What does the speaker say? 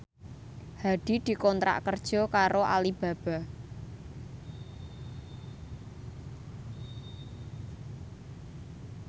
Hadi dikontrak kerja karo Alibaba